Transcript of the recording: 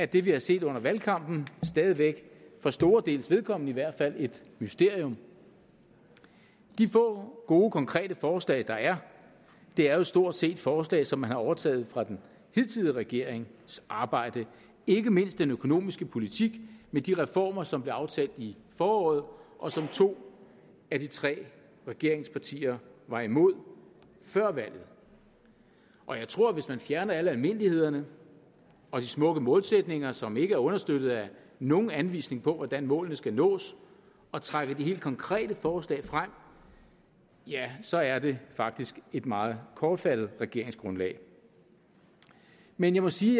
det vi har set under valgkampen stadig væk for store deles vedkommende i hvert fald et mysterium de få gode konkrete forslag der er er jo stort set forslag som man har overtaget fra den hidtidige regerings arbejde ikke mindst den økonomiske politik med de reformer som blev aftalt i foråret og som to af de tre regeringspartier var imod før valget og jeg tror hvis man fjerner alle almindelighederne og de smukke målsætninger som ikke er understøttet af nogen anvisning på hvordan målene skal nås og trækker de helt konkrete forslag frem ja så er det faktisk et meget kortfattet regeringsgrundlag men jeg må sige